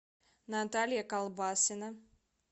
наталья колбасина